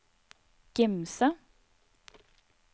Gimse